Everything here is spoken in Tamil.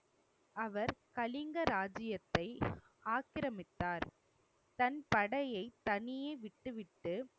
அவர் கலிங்க ராஜ்ஜியத்தை ஆக்கிரமித்தார். தன் படையை தனியே விட்டுவிட்டு